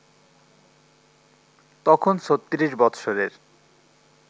তখন ৩৬ বৎসরের